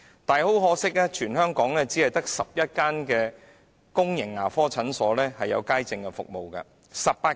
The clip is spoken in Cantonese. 然而，很可惜，在全港18區只有11間公共牙科診所提供街症服務。